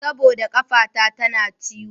Saboda ƙafata tana ciwo.